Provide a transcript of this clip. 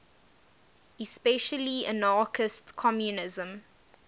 especially anarchist communism